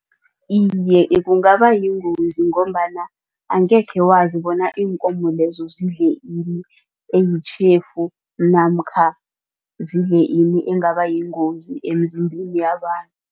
Iye, kungabayingozi ngombana angekhe wazi bona iinkomo lezo zidle ini eyitjhefu namkha zidle ini engabayingozi emzimbeni yabantu.